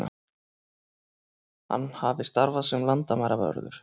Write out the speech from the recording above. Hann hafi starfað sem landamæravörður